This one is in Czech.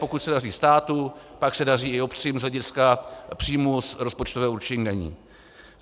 Pokud se daří státu, pak se daří i obcím z hlediska příjmů z rozpočtového určení daní.